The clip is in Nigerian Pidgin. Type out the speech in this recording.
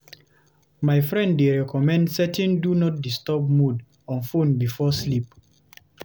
My friend dey recommend setting "do not disturb" mode on phone before sleep.